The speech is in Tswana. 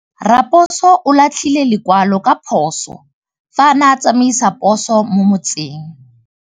Raposo o latlhie lekwalô ka phosô fa a ne a tsamaisa poso mo motseng.